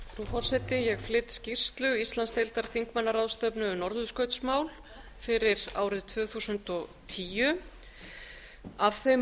forseti ég flyt skýrslu íslandsdeildar þingmannaráðstefnu um norðurskautsmál fyrir árið tvö þúsund og tíu af þeim